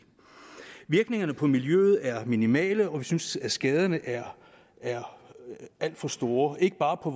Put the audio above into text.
virkningerne på miljøet er minimale og vi synes at skaderne er alt for store ikke bare på